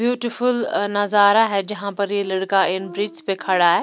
Beautiful नजारा है जहां पर ये लड़का पर खड़ा है।